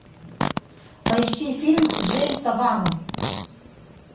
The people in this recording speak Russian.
поищи фильм джеймса вана